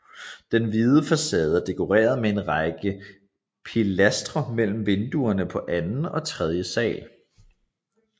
Den hvide facade er dekoreret med en række pilastre mellem vinduerne på anden og tredje sal